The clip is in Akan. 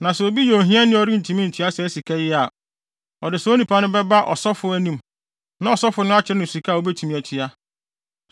Na sɛ obi yɛ ohiani a ɔrentumi ntua saa sika yi a, ɔde saa onipa no bɛba ɔsɔfo anim, na ɔsɔfo no akyerɛ no sika a obetumi atua.